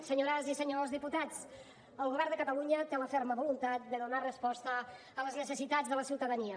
senyores i senyors diputats el govern de catalunya té la ferma voluntat de donar resposta a les necessitats de la ciutadania